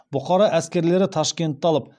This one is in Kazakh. бұқара әскерлері ташкентті алып